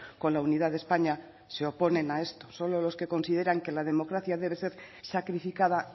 con la unidad de españa se oponen a esto solo los que consideran que la democracia debe ser sacrificada